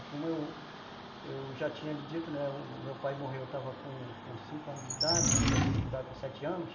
E como eu, eu já tinha lhe dito, o meu pai morreu, eu estava com cinco anos de idade, comecei a estudar com sete anos.